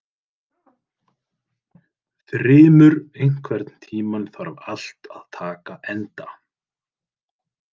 Þrymur, einhvern tímann þarf allt að taka enda.